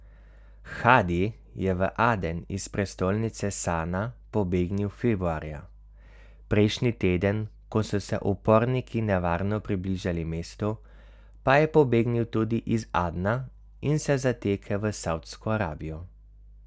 Hadi je v Aden iz prestolnice Sana pobegnil februarja, prejšnji teden, ko so se uporniki nevarno približali mestu, pa je pobegnil tudi iz Adna in se zatekel v Savdsko Arabijo.